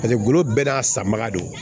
Paseke golo bɛɛ n'a sanbaga don